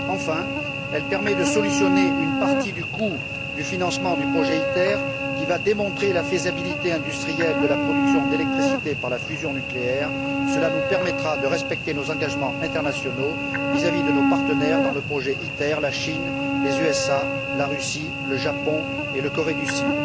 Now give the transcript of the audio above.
Enfin, elle permet de solutionner une partie du coût du financement du projet ITER qui va démontrer la faisabilité industrielle de la production d'électricité par la fusion nucléaire. Cela nous permettra de respecter nos engagements internationaux vis à vis de nos partenaires dans le projet ITER la Chine, les États Unis, la Russie, le Japon et la Corée du Sud.